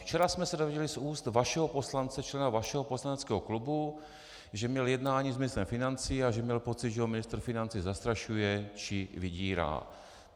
Včera jsme se dozvěděli z úst vašeho poslance, člena vašeho poslaneckého klubu, že měl jednání s ministrem financí a že měl pocit, že ho ministr financí zastrašuje či vydírá.